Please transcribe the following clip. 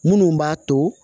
Minnu b'a to